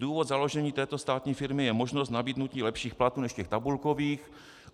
Důvod založení této státní firmy je možnost nabídnutí lepších platů než těch tabulkových.